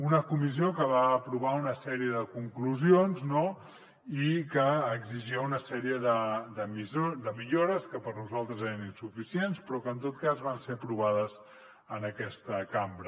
una comissió que va aprovar una sèrie de conclusions no i que exigia una sèrie de millores que per nosaltres eren insuficients però que en tot cas van ser aprovades en aquesta cambra